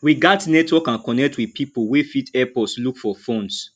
we gats network and connect with pipo wey fit help us look for funds